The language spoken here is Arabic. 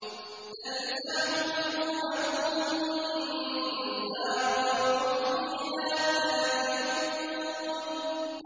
تَلْفَحُ وُجُوهَهُمُ النَّارُ وَهُمْ فِيهَا كَالِحُونَ